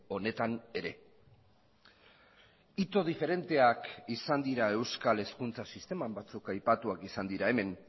honetan ere ito diferenteak izan dira euskal hezkuntza sisteman batzuk aipatuak izan dira hemen